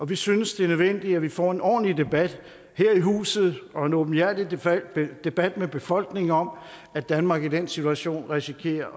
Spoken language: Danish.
vi synes det er nødvendigt at vi får en ordentlig debat her i huset og en åbenhjertig debat med befolkningen om at danmark i den situation risikerer